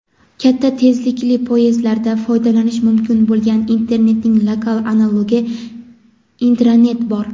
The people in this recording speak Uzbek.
katta tezlikli poyezdlarda foydalanish mumkin bo‘lgan internetning lokal analogi — intranet bor.